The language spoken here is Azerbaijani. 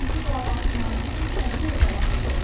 Onların bu davasından itirən isə birjalar oldu.